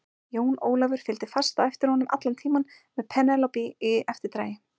Jón Ólafur fylgdi fast á eftir honum allan tímann með Penélope í eftirdragi.